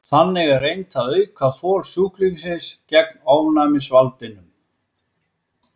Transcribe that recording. Þannig er reynt að auka þol sjúklingsins gegn ofnæmisvaldinum.